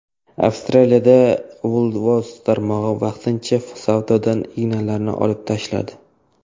Avstraliyada Woolworths tarmog‘i vaqtincha savdodan ignalarni olib tashladi.